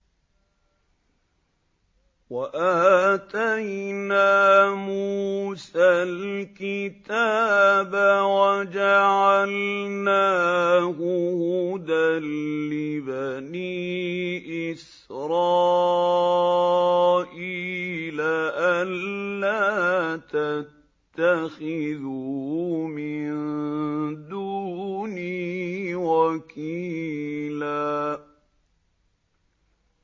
وَآتَيْنَا مُوسَى الْكِتَابَ وَجَعَلْنَاهُ هُدًى لِّبَنِي إِسْرَائِيلَ أَلَّا تَتَّخِذُوا مِن دُونِي وَكِيلًا